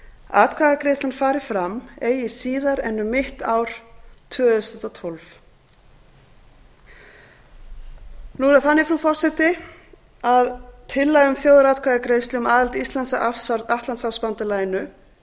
atkvæðagreiðslan fari fram eigi síðar en um mitt ár tvö þúsund og tólf nú er það þannig frú forseti að tillaga um þjóðaratkvæðagreiðslu um aðild íslands að atlantshafsbandalaginu